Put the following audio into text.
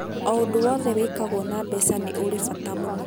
O ũndũ wothe wĩkagwo na mbeca nĩ ũrĩ bata mũna.